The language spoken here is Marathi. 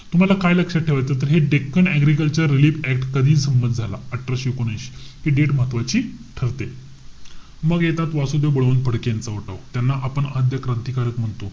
तुम्हाला काय लक्षात ठेवायचंय? तर हे the Deccan agriculture relief act, हा कधी संमत झाला. अठराशे एकोणऐशी. हि date महत्वाची ठरते. मग येतात वासुदेव बळवंत फडके यांचा उठाव. त्यांना आपण आद्य क्रांतिकारक म्हणतो.